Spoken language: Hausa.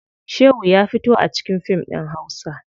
Shehu ya fito a cikin fim ɗin hausa.